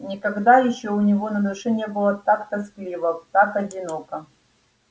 никогда ещё у него на душе не было так тоскливо так одиноко